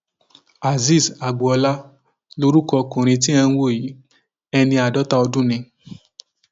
azeez agboola lorúkọ ọkùnrin tí ẹ ń wò yìí ẹni àádọta ọdún ni